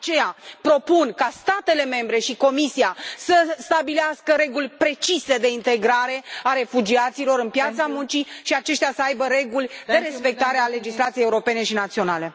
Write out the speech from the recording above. De aceea, propun ca statele membre și Comisia să stabilească reguli precise de integrare a refugiaților în piața muncii și ca aceștia să aibă reguli de respectare a legislației europene și naționale.